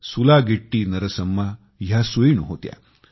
सुलागिट्टी नरसम्मा ह्या सुईण होत्या